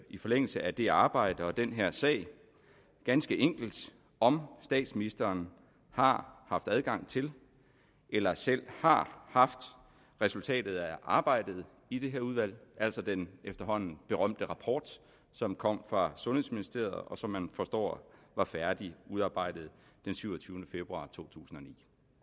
i forlængelse af det arbejde og den her sag ganske enkelt om statsministeren har haft adgang til eller selv har haft resultatet af arbejdet i det her udvalg altså den efterhånden berømte rapport som kom fra sundhedsministeriet og som man forstår var færdigudarbejdet den syvogtyvende februar totusinde